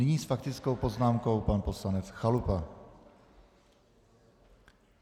Nyní s faktickou poznámkou pan poslanec Chalupa.